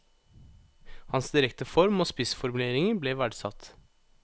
Hans direkte form og spissformuleringer ble verdsatt.